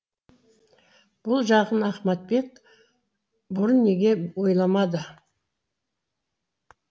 бұл жағын ахматбек бұрын неге ойламады